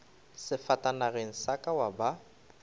sefatanageng sa ka wa ba